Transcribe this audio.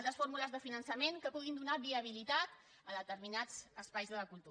altres fórmules de finançament que puguin donar viabilitat a determinats espais de la cultura